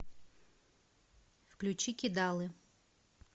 включи кидалы